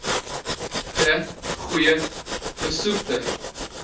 de goeie besoektye